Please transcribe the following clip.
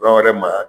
Bagan wɛrɛ magaya